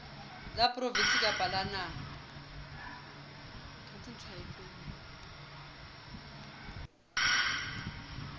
la provinse kapa la naha